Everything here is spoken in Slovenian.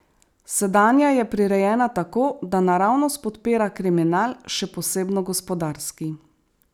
Sedanja je prirejena tako, da naravnost podpira kriminal, še posebno gospodarski.